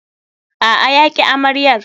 A'a, ya ƙi amaryar.